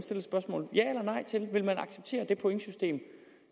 spørgsmål det pointsystem